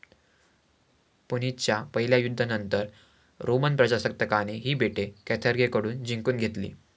पुनिच्च्या पहिल्या युद्धानंतर रोमन प्रजासत्ताकाने ही बेटे कॅर्थागेकडून जिंकून घेतली.